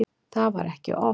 Það var ekki oft.